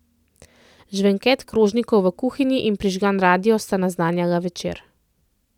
Žvenket krožnikov v kuhinji in prižgan radio sta naznanjala večer.